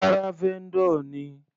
Rárá, vendor ni.